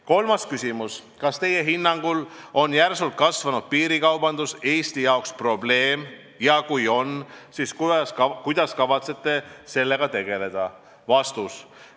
Kolmas küsimus: "Kas Teie hinnangul on järsult kasvanud piirikaubandus Eesti jaoks probleem ja kui on, siis kuidas kavatsete sellega tegeleda?